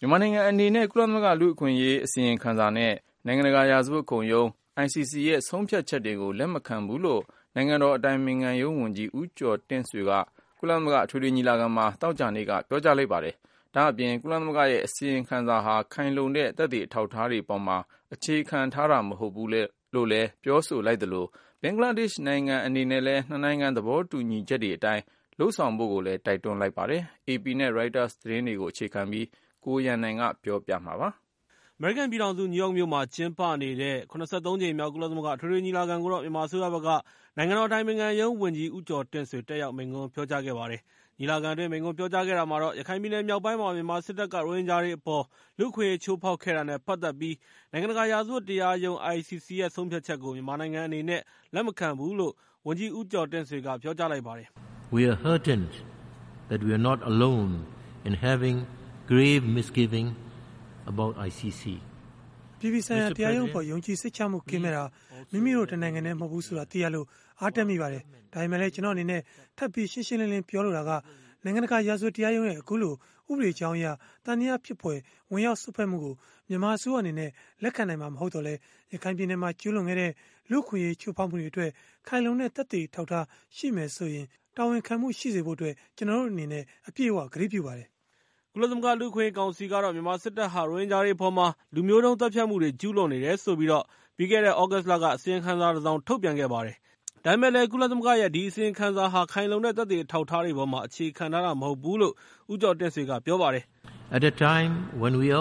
မြန်မာနိုင်ငံအနေနဲ့ ကုလသမဂ္ဂလူ့အခွင့်အရေးအစီအရင်ခံစာနဲ့ နိုင်ငံတကာရာဇဝတ်တရားရုံးရဲ့ ဆုံးဖြတ်ချက် ကို လက်မခံဘူးလို့ နိုင်ငံတော်အတိုင်ပင်ခံရုံးဝန်ကြီး ဦးကျော်တင့်ဆွေက ကုလသမဂ္ဂ အထွေထွေညီလာခံမှာ သောကြာနေ့က ပြောကြားလိုက်ပါတယ်။ ဒါ့အပြင် ကုလသမဂ္ဂရဲ့ အစီရင်ခံ စာဟာ ခိုင်လုံတဲ့သက်သေ အထောက်အထားတွေအပေါ်မှာ အခြေခံတာမဟုတ်ဘူးလို့ ပြောကြား လိုက်သလို ဘင်္ဂလားဒေ့ရှ်နိုင်ငံ အနေနဲ့ လည်း ၂ နိုင်ငံသဘောတူညီချက်တွေအတိုင်း လုပ်ဆောင်ဖို့ ကို တိုက်တွန်းလိုက်ပါတယ်။ AP နဲ့ ရိုက်တာ သတင်းဌာန တွေရဲ့ သတင်းတွေကို အခြေခံပြီး အပြည့်အစုံကို ကိုရန်နိုင်က တင်ပြပေးထားပါတယ်။ အမေရိကန်ပြည်ထောင်စု နယူးယောက်မြို့မှာကျင်းပနေတဲ့ ၇၃ ကြိမ်မြောက် ကုလသမဂ္ဂ အထွေထွေ ညီလာခံကို မြန်မာအစိုးရဘက်က နိုင်ငံတော်အတိုင်ပင်ခံရုံးဝန်ကြီး ဦးကျော်တင့်ဆွေ တက်ရောက် မိန့်ခွန်း ပြောကြားခဲ့ပါတယ်။ ညီလာခံအတွင်း မိန့်ခွန်းပြောကြားခဲ့တာမှာတော့ ရခိုင်ပြည်နယ်မြောက်ပိုင်းမှာ မြန်မာ စစ်တပ်က ရိုဟင်ဂျာတွေအပေါ် လူ့အခွင့်အရေးချိုးဖောက်ခဲ့ တာနဲ့ ပတ်သက်ပြီး၊ နိုင်ငံတကာရာဇဝတ် တရားရုံး (ICC) ရဲ့ ဆုံးဖြတ်ချက်ကို မြန်မာနိုင်ငံအနေနဲ့ လက်မခံဘူးလို့ ဝန်ကြီးဦးကျော်တင့်ဆွေက ပြောကြားလိုက်ပါ တယ်။ “အပြည်ပြည်ဆိုင်ရာတရားရုံးအပေါ် ယုံကြည်စိတ်ချမှုကင်းမဲတာ မိမိတို့တနိုင်ငံတည်းမဟုတ်ဘူး ဆိုတာ သိရလို့ အားတက်မိပါတယ်။ ဒါပေမဲ့လည်း ကျနော်အနေနဲ့ ထပ်ပြီး ရှင်းရှင်းလင်းလင်း ပြောလိုတာက နိုင်ငံတကာ ရာဇဝတ်တရားရုံးရဲ့ အခုလို ဥပဒေကြောင်းအရ သံသယဖြစ်ဖွယ် ဝင်ရောက်စွက်ဖက်မှုကို မြန်မာအစိုးရအနေနဲ့ လက်ခံနိုင်မှာမဟုတ်သော်လည်း ၊ ရခိုင်ပြည်နယ်မှာ ကျူးလွန်ခဲ့တဲ့ လူ့အခွင့်အရေးချိုးဖောက်မှုတွေအတွက် ခိုင်လုံတဲ့ သက်သေအထောက်အထား ရှိမယ်ဆိုရယ်ဆိုရင် တာဝန်ခံမှုရှိစေဖို့အတွက် ကျနော်တို့အနေနဲ့ အပြည့်အ၀ ကတိပြုပါတယ်။” ကုလသမဂ္ဂလူ့အခွင့်အရေးကောင်စီကတော့ - မြန်မာစစ်တပ်ဟာ ရိုဟင်ဂျာတွေအပေါ်မှာ လူမျိုးတုံး သတ်ဖြတ်မှုတွေ ကျူးလွန်နေတယ်ဆိုပြီး ပြီးခဲ့တဲ့ သြဂုတ်လက အစီရင်ခံစာ တစောင်ထုတ်ပြန်ခဲ့ ပါတယ်။ ကုလသမဂ္ဂရဲ့ ဒီအစီရင်ခံစာဟာ ခိုင်လုံတဲ့ သက်သေအထောက်အထား တွေအပေါ်မှာ အခြေခံထားတာ မဟုတ်ဘူးလို့ ဦးကျော်တင့်ဆွေက ပြောပါတယ်။ “ကျနော်တို့အ